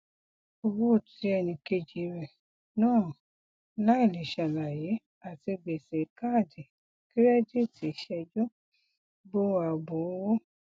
owó tí ẹnikeji rẹ na láìlé salaye àti gbèsè kaadi kirẹdìtì sẹjú bo ààbò owó